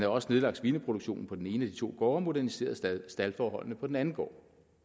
også nedlagt svineproduktionen på den ene af de to gårde og moderniseret staldforholdene på den anden gård